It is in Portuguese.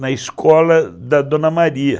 na escola da Dona Maria.